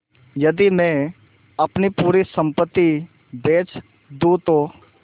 यदि मैं अपनी पूरी सम्पति बेच दूँ तो